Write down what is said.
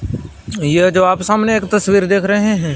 यह जो आप सामने एक तस्वीर देख रहे हैं--